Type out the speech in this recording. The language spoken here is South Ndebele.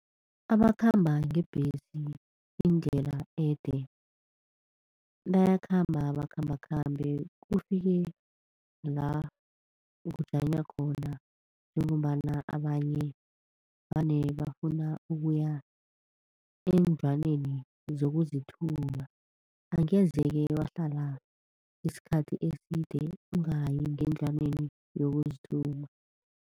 Abakhamba ngebhesi indlela ede bayakhamba, bakhambakhambe kufike la kujanywa khona njengombana abanye vane bafuna ukuya eendlwaneni zokuzithuma. Angeze-ke wahlala isikhathi eside ungayi ngendlwaneni yokuzithuma.